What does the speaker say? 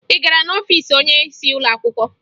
Ị gara n'ọfiisi onyeisi ụlọ akwụkwọ?